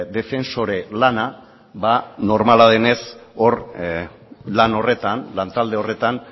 defensore lana ba normala denez lantalde horretan